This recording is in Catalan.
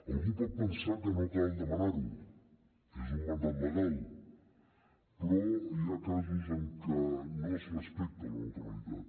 algú pot pensar que no cal demanar ho és un mandat legal però hi ha casos en què no es respecta la neutralitat